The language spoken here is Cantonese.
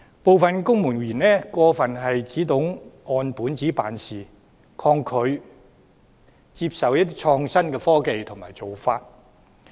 部分公務員只懂按本子辦事，抗拒接受創新的科技和做法。